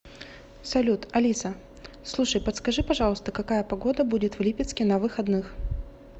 салют алиса слушай подскажи пожалуйста какая погода будет в липецке на выходных